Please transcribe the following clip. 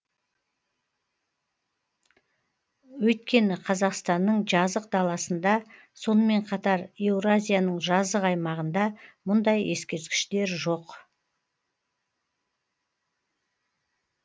өйткені қазақстанның жазық даласында сонымен қатар еуразияның жазық аймағында мұндай ескерткіштер жоқ